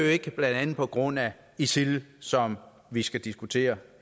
ikke blandt andet på grund af isil som vi skal diskutere